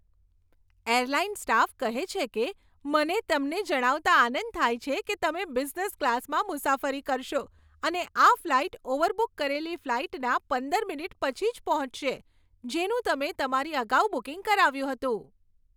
Airline staff કહે છે કે, મને તમને જણાવતાં આનંદ થાય છે કે તમે બિઝનેસ ક્લાસમાં મુસાફરી કરશો અને આ ફ્લાઇટ ઓવરબુક કરેલી ફ્લાઇટના પંદર મિનિટ પછી જ પહોંચશે, જેનું તમે તમારી અગાઉ બુકિંગ કરાવ્યું હતું.